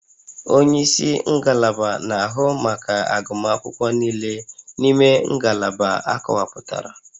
Onye isi ngalaba na-ahụ maka agụmakwụkwọ niile n'ime ngalaba akọwapụtara